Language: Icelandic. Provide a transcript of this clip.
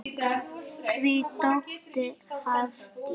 Þín dóttir, Hafdís.